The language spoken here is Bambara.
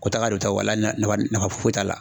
Ko taga do ta wala nafa foyi t'a la